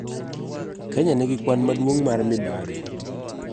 Kenya nigi kwan maduong' mar mibadhi.